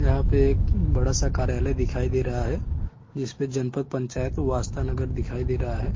इस का गेट लाल कलर और वाइट कलर से कलर किया गया है बहोत ही सुन्दर तस्वीर दिखाई दे रहा है।